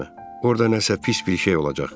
Orda nəsə pis bir şey olacaq.